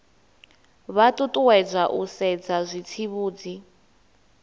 vha ṱuṱuwedzwa u sedza zwitsivhudzi